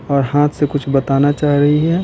और हाथ से कुछ बताना चाह रही है।